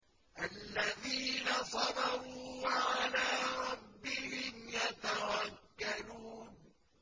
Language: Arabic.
الَّذِينَ صَبَرُوا وَعَلَىٰ رَبِّهِمْ يَتَوَكَّلُونَ